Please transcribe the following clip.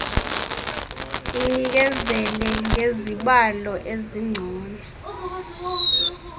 inikezele ngezibalo ezingcono